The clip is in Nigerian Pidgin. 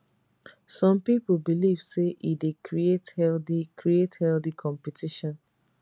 some pipo believe say e dey create healthy create healthy competition